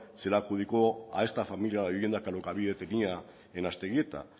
se le adjudicó a esta familia la vivienda que alokabide tenía en aztegieta